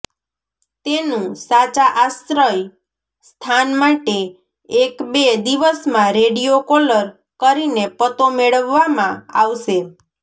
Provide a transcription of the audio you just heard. તેનું સાચા આશ્રય સ્થાન માટે એક બે દિવસમાં રેડીયો કોલર કરીને પતો મેળવવામાં આવશે